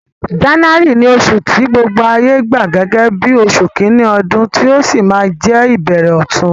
January ni osù ti gbogbo ayé gba gẹ́gẹ́ bí osù kíní odún, ti ó si ma je ìbẹ̀rẹ̀ ọ̀tun